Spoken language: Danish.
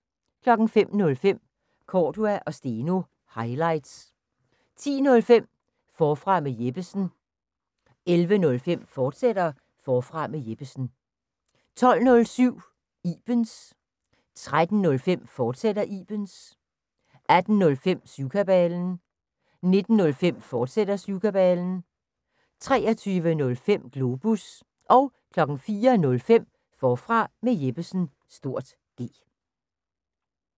05:05: Cordua & Steno – highlights 10:05: Forfra med Jeppesen 11:05: Forfra med Jeppesen, fortsat 12:07: Ibens 13:05: Ibens, fortsat 18:05: Syvkabalen 19:05: Syvkabalen, fortsat 23:05: Globus 04:05: Forfra med Jeppesen (G)